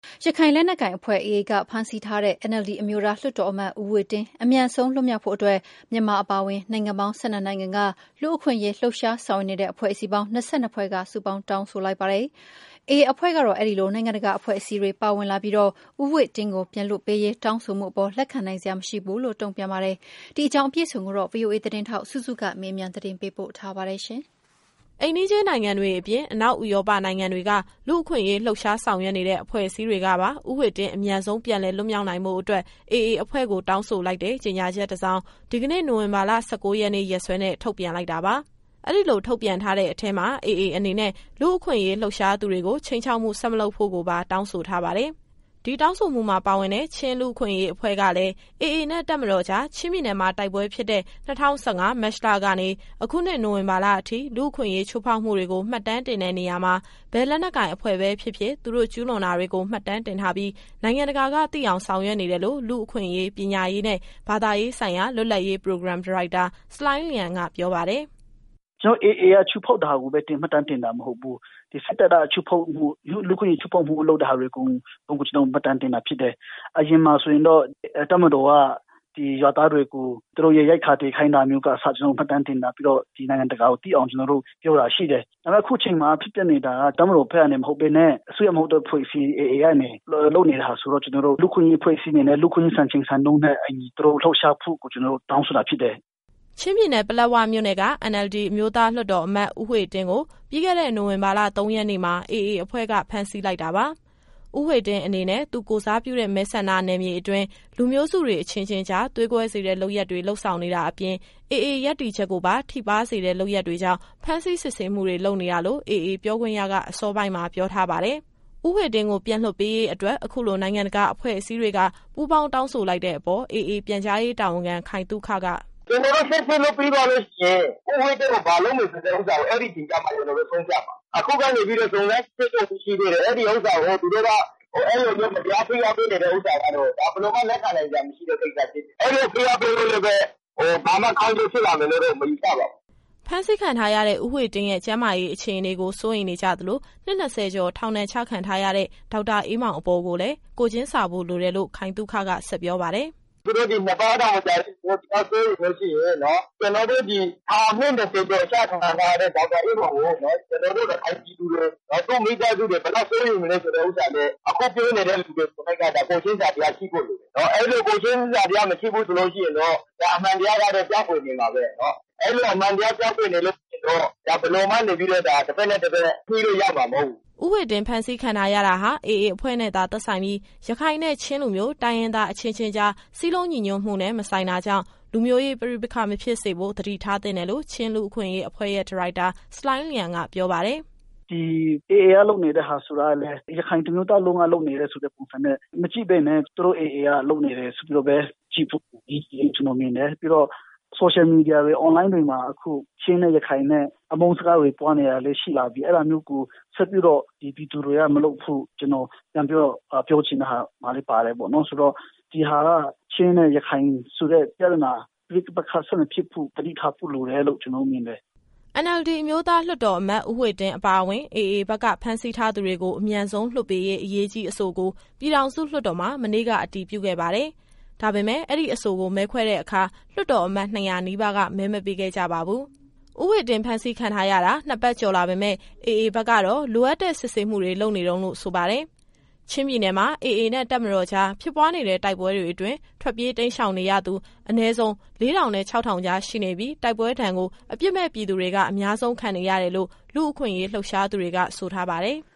ရခိုင်လက်နက်ကိုင်အဖွဲ့ AA က ဖမ်းဆီးထားတဲ့ ဦးဝှေ့တင်းအမြန်ဆုံး လွှတ်မြောက်ဖို့အတွက် မြန်မာအပါအဝင် နိုင်ငံပေါင်း ၁၂နိုင်ငံက လူ့အခွင့်အရေးလှုပ်ရှား ဆောင်ရွက်နေတဲ့ အဖွဲ့အစည်းပေါင်း ၂၂ဖွဲ့က တောင်းဆိုလိုက်ပါတယ်။ AA အဖွဲ့ကတော့ အဲဒီလို နိုင်ငံတကာ အဖွဲ့အစည်းတွေ ပါဝင်လာပြီး ဦးဝှေ့တင်းကို ပြန်လွှတ်ပေးရေး တောင်းဆိုမှုအပေါ် လက်ခံနိုင်စရာမရှိဘူးလို့ တုံ့ပြန်ပါတယ်။ ဒီအကြောင်း အပြည့်အစုံကို ဗွီအိုအေသတင်းထောက် စုစုကမေးမြန်း ပေးပို့ထားပါတယ်။ အိမ်နီးချင်းနိုင်ငံတွေအပြင် အနောက်ဥရောပနိုင်ငံတွေက လူ့အခွင့်အရေးလှုပ်ရှား ဆောင်ရွက်နေတဲ့ အဖွဲ့အစည်းတွေကပါ ဦးဝှေ့တင်း အမြန်ဆုံး ပြန်လည်လွတ်မြောက်နိုင်ဖို့အတွက် AA အဖွဲ့ကို တောင်းဆိုလိုက်တဲ့ ကြေညာချက်တစောင် ဒီကနေ့ နိုဝင်ဘာ ၁၉ရက်နေ့ ရက်စွဲနဲ့ ထုတ်ပြန်လိုက်တာပါ။ အဲဒီလို ထုတ်ပြန်ထားတဲ့အထဲမှာ AA အနေနဲ့ လူ့အခွင့်အရေး လှုပ်ရှားသူတွေကို ခြိမ်းခြောက်မှု ဆက်မလုပ်ဖို့ကိုပါ တောင်းဆိုထားပါတယ်။ ဒီတောင်းဆိုမှုမှာ ပါဝင်တဲ့ ချင်းလူ့အခွင့်အရေးအဖွဲ့ကလည်း AA နဲ့ တပ်မတော်ကြား ချင်းပြည်နယ်မှာ တိုက်ပွဲဖြစ်တဲ့ ၂၀၁၅၊ မတ်လကနေ အခုနှစ် နိုဝင်ဘာလအထိ လူ့အခွင့်အရေး ချိုးဖောက်မှုတွေကို မှတ်တမ်းတင်တဲ့နေရာမှာ ဘယ်လက်နက်ကိုင် အဖွဲ့ပဲဖြစ်ဖြစ်၊ သူတို့ကျူးလွန်တာတွေကို မှတ်တမ်းတင်ထားပြီး နိုင်ငံတကာကသိအောင် ဆောင်ရွက်နေတယ်လို့ လူ့အခွင့်အရေး ပညာရေးနဲ့ ဘာသာရေးဆိုင်ရာ လွတ်လပ်ရေးပရိုဂရမ် ဒါရိုက်တာ ဆလိုင်းလျန်က ပြောပါတယ်။ “ကျတော်တို့က AA ကချိုးဖောက်တာကိုပဲ မှတ်တမ်းတင်တာ မဟုတ်ဘူး။ ဒီစစ်တပ်က ချိုးဖောက်မှု။ လူ့အခွင့်အရေးချိုးဖောက်မှုတွေ လုပ်တဲ့ဟာအကုန် ကျတော်တို့မှတ်တမ်းတင်တာ ဖြစ်တယ်။ အရင်တုန်းကတော့ တပ်မတော်က ဒီရွာသားတွေကို သူတို့ရဲ့ရိတ်ခါ သယ်ခိုင်းတာကအစ ကျတော်တို့ မှတ်တမ်းတင်ထားပြီးတော့ ဒီနိုင်ငံတကာကိုသိအောင် ကျတော်တို့ပြောတာရှိတယ်။ ဒါပေမယ့် အခုချိန်ခါမှာ ဖြစ်ပျက်နေတာက တပ်မတော်ဘက်ကနေ မဟုတ်ဘဲနဲ့ အစိုးရမဟုတ်သော အဖွဲ့အစည်း AA ကနေ လုပ်နေတာဆိုတော့ ကျတော်တို့ လူ့အခွင့်အရေးအဖွဲ့အစည်းအနေနဲ့ လူ့အခွင့်အရေးစံချိန်စံညွှန်းနဲ့ အညီ သူတို့လှုပ်ရှားမှုကို ကျတော်တို့တောင်းဆိုတာဖြစ်တယ်။” ချင်းပြည်နယ်၊ ပလက်ဝမြို့နယ်က NLD အမျိုးသားလွှတ်တော်အမတ် ဦးဝှေ့တင်းကို ပြီးခဲ့တဲ့ နိုဝင်ဘာလ ၃ရက်နေ့မှာ AA အဖွဲ့က ဖမ်းဆီးလိုက်တာပါ။ ဦးဝှေ့တင်းအနေနဲ့ သူကိုယ်စားပြုတဲ့ မဲဆန္ဒနယ်မြေအတွင်း လူမျိုးစုတွေ အချင်းချင်းကြား သွေးကွဲစေတဲ့ လုပ်ရပ်တွေ လုပ်ဆောင်နေတာအပြင် AA ရပ်တည်ချက်ကိုပါ ထိပါးစေတဲ့ လုပ်ရပ်တွေကြောင့် ဖမ်းဆီးစစ်ဆေးမှုတွေ လုပ်နေတာလို့ AA ပြောခွင့်ရက အစောပိုင်းမှာ ပြောထားပါတယ်။ ဦးဝှေ့တင်းကို ပြန်လွှတ်ပေးရေးအတွက် အခုလို နိုင်ငံတကာအဖွဲ့အစည်းတွေက ပူပေါင်းတောင်းဆိုလိုက်တဲ့ အပေါ် AA ပြန်ကြားရေးတာဝန်ခံ ခိုင်သုခက “ကျတော်တို့စစ်ဆေးလို့ ပြီးသွားလို့ရှိရင် ဦးဝှေ့တင်းကို ဘာလုပ်မယ်ဆိုတဲ့ ဥစ္စာကို အဲဒီအချိန်ကျမှ ကျတော်တို့ရှင်းပြမှာ။ အခုက စုံစမ်းစစ်ဆေးနေတုန်း ရှိသေးတယ်။ အဲဒီဥစ္စာကို သူတို့က အဲလိုမျိုး မတရားဖိအားပေးနေတဲ့ဥစ္စာကတော့ ဒါဘယ်လိုမှ လက်ခံနိုင်စရာ မရှိတဲ့ကိစ္စဖြစ်တယ်။ အဲလိုဖိအားပေးလို့လည်းပဲ ဘာမှကောင်းကျိုးဖြစ်လာမယ်လို့တော့ မယူဆပါဘူး။” ဖမ်းဆီးခံထားရတဲ့ ဦးဝှေ့တင်းရဲ့ ကျန်းမာရေးအခြေအနေကို စိုးရိမ်နေကြသလို၊ နှစ် ၂၀ကျော် ထောင်ဒဏ်ချခံထားရတဲ့ ဒေါက်တာအေးမောင်အပေါ်ကိုလည်း ကိုယ်ချင်းစာဖို့လိုတယ်လို့ ခိုင်သုခက ဆက်ပြောပါတယ်။ “သူတို့တောင် ၂ပတ်မကြာသေးတဲ့အချိန်မှာ ဒီလောက်တောင်စိုးရိမ်နေလို့ရှိရင် ကျတော်တို့ ဒီထောင်အနှစ် ၂၀ ကျော်ကျခံထားရတဲ့ ဒေါက်တာအေးမောင်ကို ကျတော်တို့ ရခိုင်ပြည်သူတွေ၊ သူ့မိသားစုတွေ ဘယ်လောက်စိုးရိမ်နေမလဲ ဆိုတဲ့ဥစ္စာလည်း အခုပြောနေတဲ့လူတွေ ကိုယ်၌က ကိုယ်ချင်းစာတရားရှိဖို့ လိုတယ်။ အဲဒီလို ကိုယ်ချင်းစာတရား မရှိဘူးဆိုလို့ရှိရင်တော့ ဒါအမှန်တရားကတော့ ပျောက်ကွယ်နေမှာပဲ။ အဲလိုအမှန်တရား ပျောက်ကွယ်နေလို့ရှိရင်တော့ ဘယ်လိုမှ တဘက်နဲ့တဘက် ညှိလို့ရမှာ မဟုတ်ဘူး။” ဦးဝှေ့တင်း ဖမ်းဆီးခံထားရတာဟာ AA အဖွဲ့နဲ့သာ သက်ဆိုင်ပြီး၊ ရခိုင်နဲ့ ချင်းလူမျိုး တိုင်းရင်းသားအချင်းချင်းကြား စည်းလုံးညီညွတ်မှုနဲ့ မဆိုင်တာကြောင့် လူမျိုးရေးပဋိပက္ခ မဖြစ်စေဖို့ သတိထားသင့်တယ်လို့ ချင်းလူ့အခွင့်အရေးအဖွဲ့ရဲ့ ဒါရိုက်တာ ဆလိုင်းလျန်က ပြောပါတယ်။ “ဒီ AA က လုပ်နေတဲ့ဟာဆိုတာကလည်း ရခိုင်တမျိုးသားလုံးက လုပ်နေတဲ့ဆိုတဲ့ပုံစံနဲ့ မကြည့်ဘဲနဲ့ သူတို့ AA က လုပ်နေတယ်ဆိုပြီးတော့ပဲ ကြည့်ဖို့အရေးကြီးတယ်လို့ ကျတော်မြင်တယ်။ ပြီးတော့ Social Media တွေ Online တွေမှာ အခု ချင်းနဲ့ရခိုင်နဲ့ အမုန်းစကားတွေ ပွားနေတာတွေလည်း ရှိလာပြီ။ အဲဒါမျိုးကို ဆက်ပြီးတော့ ဒီပြည်သူတွေကမလုပ်ဖို့ ကျတော်ပြန်ပြီးတော့ ပြောချင်တဲ့ဟာမှာလည်း ပါတယ်ပေါ့နော်။ ဆိုတော့ ဒီဟာက ချင်းနဲ့ ရခိုင်ဆိုတဲ့ ပြဿနာ ပဋိပက္ခဆက်မဖြစ်ဖို့ သတိထားဖို့လိုတယ်လို့ ကျတော်တို့မြင်တယ်။” NLD အမျိုးသားလွှတ်တော်အမတ် ဦးဝှေ့တင်းအပါအဝင် AA ဘက်က ဖမ်းဆီးထားသူတွေ အမြန်ဆုံးလွှတ်ပေးရေး အရေးကြီးအဆိုကို ပြည်ထောင်စုလွှတ်တော်မှာ မနေ့က အတည်ပြုခဲ့ပါတယ်။ ဒါပေမယ့် အဲဒီအဆိုကို မဲခွဲတဲ့အခါ လွှတ်တော်အမတ် ၂၀၀ နီးပါးက မဲမပေးခဲ့ကြပါဘူး။ ဦးဝှေ့တင်းဖမ်းဆီးခံထားရတာ ၂ပတ်ကျော်လာပေမယ့်၊ AA ဘက်ကတော့ လိုအပ်တဲ့စစ်ဆေးမှုတွေ လုပ်နေတုန်းလို့ ဆိုပါတယ်။ ချင်းပြည်နယ်မှာ AA နဲ့ တပ်မတော်ကြား ဖြစ်ပွားနေတဲ့ တိုက်ပွဲတွေအတွင်း ထွက်ပြေးတိမ်းရှောင်နေရသူ အနည်းဆုံး ၄၀၀၀ နဲ့ ၆၀၀၀ ကြား ရှိနေပြီး၊ တိုက်ပွဲဒဏ်ကို အပြစ်မဲ့ပြည်သူတွေက အများဆုံးခံနေရတယ်လို့ လူ့အခွင့်အရေး လှုပ်ရှားနေသူတွေက ဆိုထားပါတယ်။